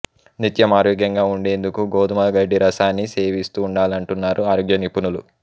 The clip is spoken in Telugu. నిత్యం ఆరోగ్యంగా ఉండేందుకు గోధుమ గడ్డి రసాన్ని సేవిస్తుండాలంటున్నారు ఆరోగ్య నిపుణులు